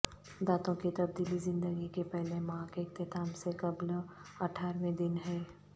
دانتوں کی تبدیلی زندگی کے پہلے ماہ کے اختتام سے قبل اٹھارہویں دن ہے